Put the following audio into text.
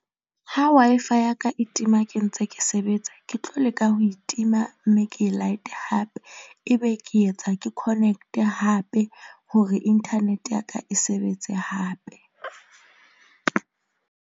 Ha Wi-Fi ya ka e tima, ke ntse ke sebetsa ke tlo leka ho e tima mme ke e light-e hape. Ebe ke etsa ke connect-e hape hore inthanete ya ka e sebetse hape .